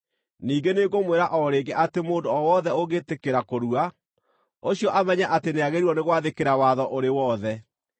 Ningĩ nĩngũmwĩra o rĩngĩ atĩ mũndũ o wothe ũngĩtĩkĩra kũrua, ũcio amenye atĩ nĩagĩrĩirwo nĩ gwathĩkĩra watho ũrĩ wothe.